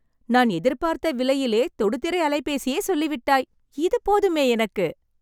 நான் எதிர்பார்த்த விலையிலே, தொடுதிரை அலைபேசியே சொல்லிவிட்டாய்.. இது போதுமே எனக்கு